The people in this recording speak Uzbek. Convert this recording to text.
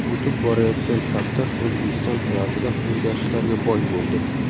O‘tib borayotgan hafta O‘zbekiston hayotida o‘zgarishlarga boy bo‘ldi.